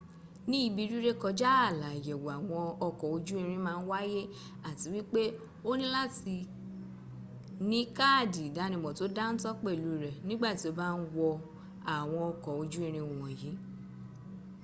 ní ibi rírékọjá ààlà ayẹ̀wò àwọn ọkọ̀ ojú-irin màa n wáyé àti wípé́ o ní láti ní káàdì ìdánímò tó dántó pẹ́lù rẹ nígbàtí o bá ń wọ àwọn ọkọ̀ ojú-irin wọ̀nyí